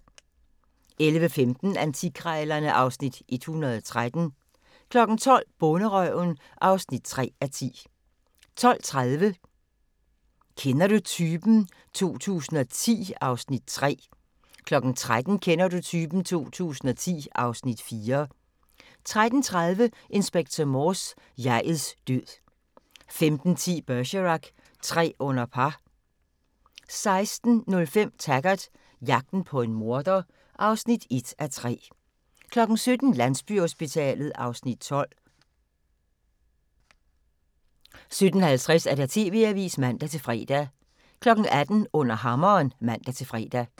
11:15: Antikkrejlerne (Afs. 113) 12:00: Bonderøven (3:10) 12:30: Kender du typen? 2010 (Afs. 3) 13:00: Kender du typen? 2010 (Afs. 4) 13:30: Inspector Morse: Jeg'ets død 15:10: Bergerac: Tre under par 16:05: Taggart: Jagten på en morder (1:3) 17:00: Landsbyhospitalet (Afs. 12) 17:50: TV-avisen (man-fre) 18:00: Under Hammeren (man-fre)